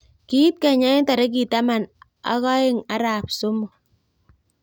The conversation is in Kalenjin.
Kiit kenya eng torikit tamanak oeng arap somok